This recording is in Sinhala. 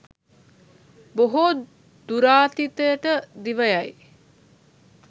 බොහෝ දුරාතීතයට දිව යයි.